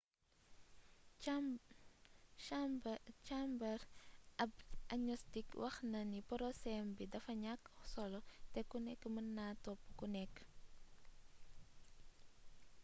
chambers ab agnostic wax na ni poroséwam bi dafa ñakk solo te ku nekk mën naa topp ku nekk